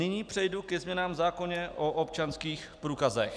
Nyní přejdu ke změnám v zákoně o občanských průkazech.